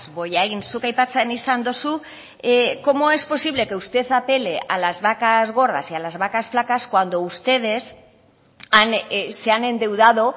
bollain zuk aipatzen izan duzu cómo es posible que usted apele a las vacas gordas y a las vacas flacas